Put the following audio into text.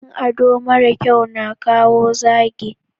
yin ado mara kyau na kawo zagi